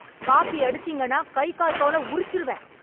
copy அடிச்சீங்கன்னா கை கால் தோல உரிச்சிருவேன்...